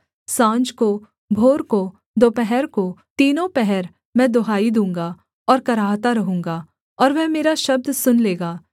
साँझ को भोर को दोपहर को तीनों पहर मैं दुहाई दूँगा और कराहता रहूँगा और वह मेरा शब्द सुन लेगा